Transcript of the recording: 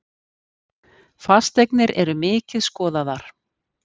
Fasteignir eru mikið skoðaðar